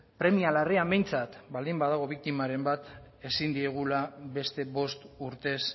premia larrian behintzat baldin badago biktimaren bat ezin diegula beste bost urtez